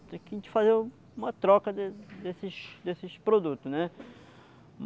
Tinha que a gente fazer uma troca desses desses desses produtos, né?